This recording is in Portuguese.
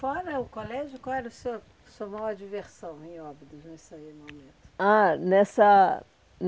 Fora o colégio, qual era o seu a sua maior diversão em Óbidos, nesse momento? Ah, nessa